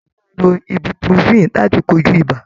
A maá ń lo Ibuprofen láti kojú ibà.